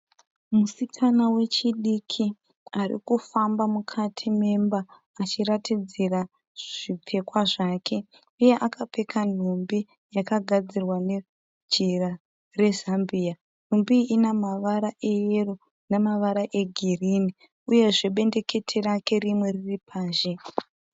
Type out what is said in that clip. Musikana wechidiki ari kufamba mukati memba achiratidzira zvipfekwa zvake uye akapfeka nhumbi yakagadzirwa nejira rezambia. Nhumbi iyi ine mavara eyero namavara egirinhi uyezve bendekete rake rimwe riri panze.